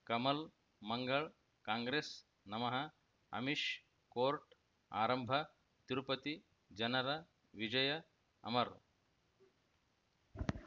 ಕಮಲ್ ಮಂಗಳ್ ಕಾಂಗ್ರೆಸ್ ನಮಃ ಅಮಿಷ್ ಕೋರ್ಟ್ ಆರಂಭ ತಿರುಪತಿ ಜನರ ವಿಜಯ ಅಮರ್